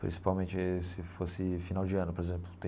Principalmente se fosse final de ano, por exemplo.